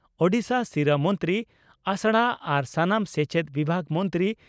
ᱳᱰᱤᱥᱟ ᱥᱤᱨᱟᱹ ᱢᱚᱱᱛᱨᱤ ᱟᱥᱲᱟ ᱟᱨ ᱥᱟᱱᱟᱢ ᱥᱮᱪᱮᱫ ᱵᱤᱵᱷᱟᱜᱽ ᱢᱚᱱᱛᱨᱤ